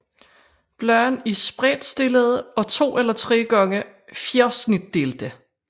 Bladene er spredtstillede og 2 eller 3 gange fjersnitdelte